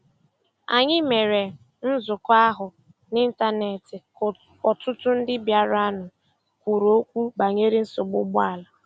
Anyị mere nzukọ ahụ n'Ịntanet ka ọtụtụ ndị bịaranụ kwuru okwu banyere nsogbu ụgbọala.